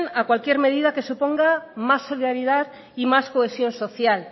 a cualquier medida que suponga más solidaridad y más cohesión social